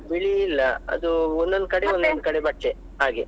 ಬಿಳಿ ಇಲ್ಲ ಅದು ಒಂದೊಂದು ಕಡೆ ಒಂದೊಂದು ಕಡೆ ಬಟ್ಟೆ ಹಾಗೆ.